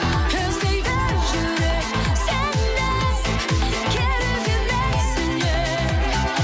іздейді жүрек сені керек емес сеннен